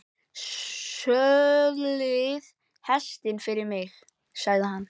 Söðlið hestinn fyrir mig, sagði hann.